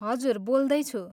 हजुर, बोल्दैछु।